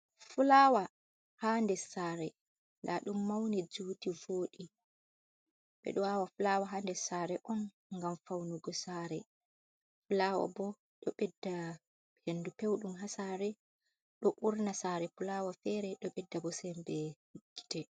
Fulawa ha nder sare, nda ɗum mauni juti vodi, ɓeɗo awa fulawa ha nder sare on ngam faunugo sare, fulawa bo ɗo bedda hendu peuɗum ha sare ɗo urna sare fulawa fere do ɓedda bo sembe gite.